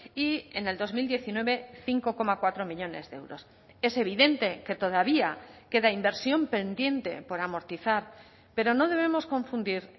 y en el dos mil diecinueve cinco coma cuatro millónes de euros es evidente que todavía queda inversión pendiente por amortizar pero no debemos confundir